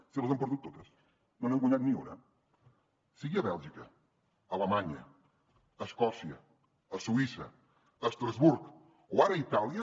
si les han perdut totes no n’han guanyat ni una sigui a bèlgica a alemanya a escòcia a suïssa a estrasburg o ara a itàlia